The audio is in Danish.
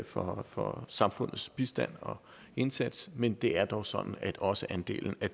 for for samfundets bistand og indsats men det er dog sådan at også andelen af